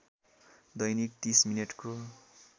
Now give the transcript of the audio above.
दैनिक ३० मिनेटको